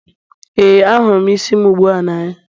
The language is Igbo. ee, ahụrụ m isi m ugbu a n'anya